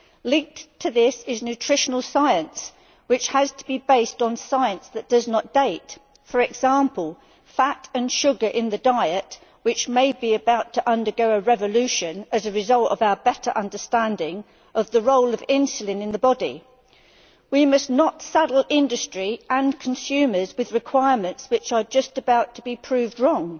Linked to this is nutritional science, which has to be based on science that does not date for example, fat and sugar in the diet, which may be about to undergo a revolution as a result of our better understanding of the role of insulin in the body. We must not saddle industry and consumers with requirements which are just about to be proved wrong.